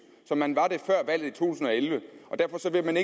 som man var det før valget tusind og elleve og derfor vil man